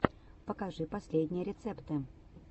покажи последние рецепты